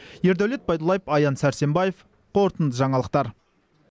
ердәулет байдуллаев аян сәрсенбаев қорытынды жаңалықтар